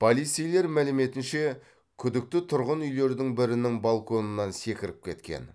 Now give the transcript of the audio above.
полицейлер мәліметінше күдікті тұрғын үйлердің бірінің балконынан секіріп кеткен